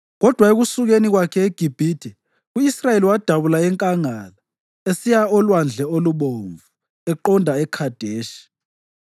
Kodwa ekusukeni kwakhe eGibhithe, u-Israyeli wadabula enkangala esiya oLwandle oluBomvu eqonda eKhadeshi.